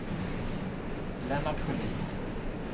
Lennart Sjölin